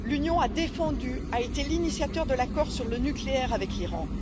L'Union a défendu, a été l'initiatrice de l'accord sur le nucléaire avec l'Iran.